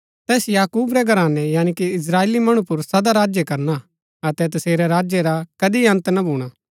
तैस याकूब रै घरानै यानी की इस्त्राएली मणु पुर सदा राज्य करना अतै तसेरै राज्य रा कदी अन्त ना भूणा